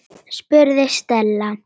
spurði Stella.